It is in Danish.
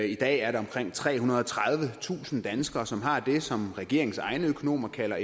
i dag er der omkring trehundrede og tredivetusind danskere som har det som regeringens egne økonomer kalder